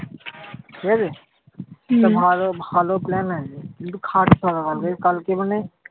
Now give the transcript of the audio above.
ঠিকাছে? ভালো ভালো plan আছে কিন্তু খাটতে হবে কালকে। এই কালকে মানে